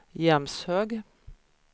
Jämshög